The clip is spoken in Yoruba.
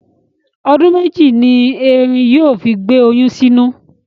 Ọdún mẹ́jì ni erin yóò fi gbé oyún sínú.